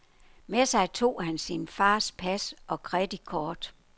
Med sig tog han sin fars pas og kreditkort.